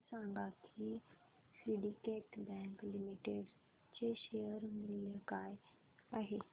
हे सांगा की सिंडीकेट बँक लिमिटेड चे शेअर मूल्य काय आहे